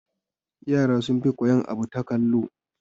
Yara sun fi koyan abu ta kallo